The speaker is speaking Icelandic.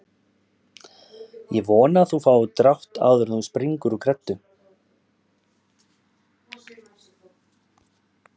Ég vona að þú fáir drátt áður en þú springur úr greddu